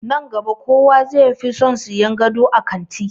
Nan gaba kowa zai fi son sayan gado a kanti.